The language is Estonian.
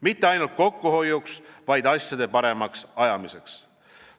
Mitte ainult kokkuhoiuks, vaid asjade paremaks ajamiseks.